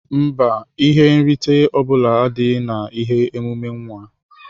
Mba, ihe nrite ọbula adịghị na ihe emume nwa.